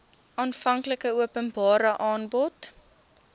aanvanklike openbare aanbod